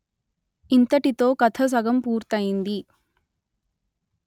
ఇంతటితో కథ సగం పూర్తయింది